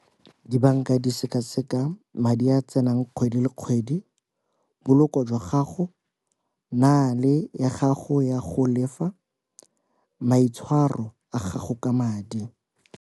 Dibanka di seka seka madi a tsenang kgwedi le kgwedi, poloko jwa gago ya gago ya go lefa, maitshwaro a gago ka madi.